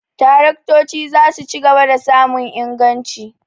Taraktoci za su ci gaba da samun inganci.